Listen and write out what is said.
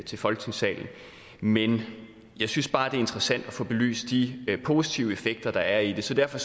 til folketingssalen men jeg synes bare det interessant at få belyst de positive effekter der er i det så derfor